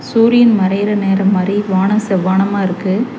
சூரியன் மறையிற நேரம் மாரி வானோ செவ்வானமா இருக்கு.